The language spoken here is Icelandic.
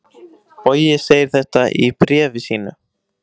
Bogi segir þetta í bréfi sínu: